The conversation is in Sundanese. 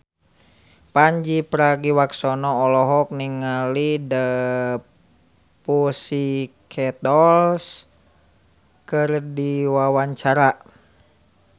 Pandji Pragiwaksono olohok ningali The Pussycat Dolls keur diwawancara